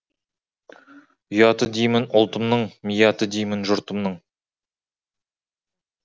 ұяты деймін ұлтымның мияты деймін жұртымның